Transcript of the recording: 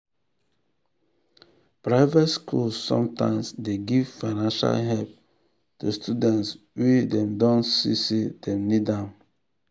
private schools sometimes dey give financial help to students wey dem don see say dem need am.